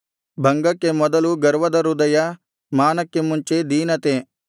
ಭಂಗಕ್ಕೆ ಮೊದಲು ಗರ್ವದ ಹೃದಯ ಮಾನಕ್ಕೆ ಮುಂಚೆ ದೀನತೆ